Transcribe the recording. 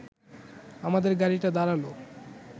আমাদের গাড়িটা দাঁড়াল